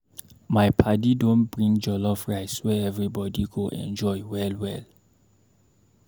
My paddy don bring jollof rice wey everybody go enjoy well well.